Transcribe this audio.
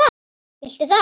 Viltu það?